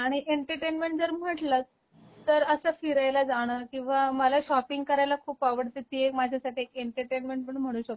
आणि एंटरटेनमेंट जर म्हणलत तर अस फिरायला जाण, किंवा मला शॉपिंग करायला खूप आवडते ती एक माझ्यासाठी एंटरटेनमेंट पण म्हणू शकतो.